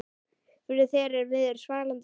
Fyrr hér viður svalan sand